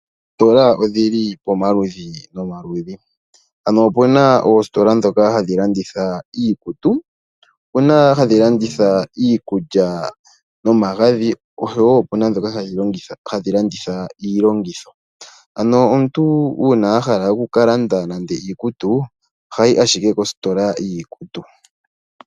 Oositola odhili pomaludhi nomaludhi, opuna oositola dhoka hadhi landitha iikutu, opuna hadhi landitha iikulya nomagadhi, osho wo opuna dhoka hadhi landitha iilongitho, ano omuntu uuna ahala oku landa nando iikutu, ohayi ashike kositola yiikutu.